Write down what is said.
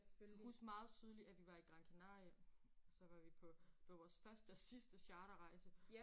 Kan huske meget tydeligt at vi var i Gran Canaria. Så var vi på det var vores første og sidste charterrejse